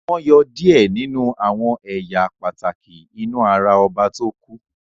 wón yọ diẹ ninu àwọn ẹyà pàtàkì inú àrà oba to ku.